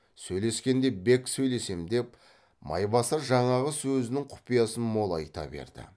сөйлескенде бек сөйлесем деп майбасар жаңағы сөзінің құпиясын молайта берді